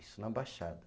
Isso na Baixada.